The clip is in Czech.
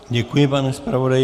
Děkuji, pane zpravodaji.